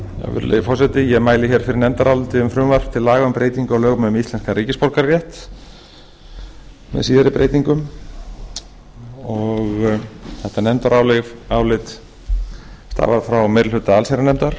virðulegi forseti ég mæli fyrir nefndaráliti um frumvarp til laga um breytingu á lögum um íslenskan ríkisborgararétt með síðari breytingum þetta nefndarálit var frá meiri hluta allsherjarnefndar